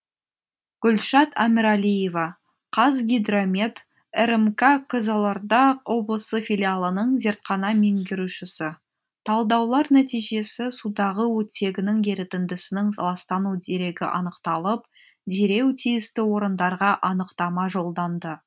гүлшат әміралиева қазгидромет рмк қызылорда облысы филиалының зертхана меңгерушісі талдаулар нәтижесі судағы оттегінің ерітіндісінің ластану дерегі анықталып дереу тиісті орындарға анықтама жолданды